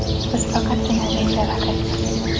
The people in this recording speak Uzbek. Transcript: Biz faqatgina ringda raqibmiz.